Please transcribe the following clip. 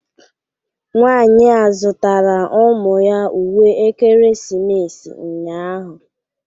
Nwanyị a zụtara ụmụ ya uwe ekeresimesi ụnyahụ